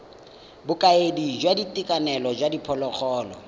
bokaedi jwa boitekanelo jwa diphologolo